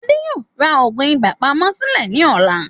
Adé yóò rà òògùn ibà pamọ́ sìlè ní ọ̀la